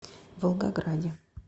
волгограде